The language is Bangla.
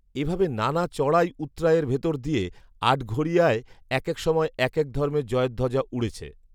এভাবে নানা চড়াই উৎড়াইয়ের ভেতর দিয়ে আটঘরিয়ায় একেক সময় একেক ধর্মের জয়ধ্বজা উড়েছে